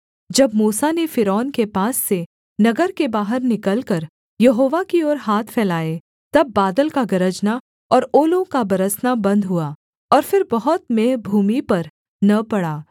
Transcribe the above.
जब मूसा ने फ़िरौन के पास से नगर के बाहर निकलकर यहोवा की ओर हाथ फैलाए तब बादल का गरजना और ओलों का बरसना बन्द हुआ और फिर बहुत मेंह भूमि पर न पड़ा